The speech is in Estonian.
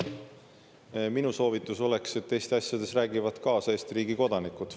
Minu soovitus oleks, et Eesti asjades räägivad kaasa Eesti riigi kodanikud.